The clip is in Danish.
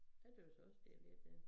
Jeg tøs også lidt ja